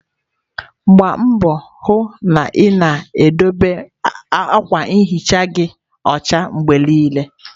Gbaa mbọ hụ na ị na-edobe akwa nhicha gị ọcha mgbe niile!.